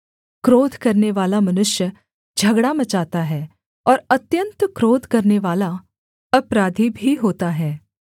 क्रोध करनेवाला मनुष्य झगड़ा मचाता है और अत्यन्त क्रोध करनेवाला अपराधी भी होता है